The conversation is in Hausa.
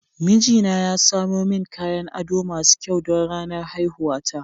Mijina ya samo min kayan ado masu kyau don ranar haihuwata.